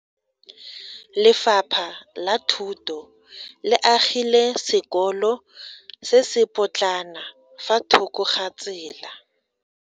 Lefapha la Thuto le agile sekolo se se potlana fa thoko ga tsela.